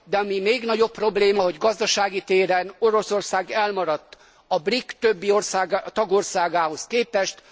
De ami még nagyobb probléma, hogy gazdasági téren Oroszország elmaradt a BRIC többi tagországához képest.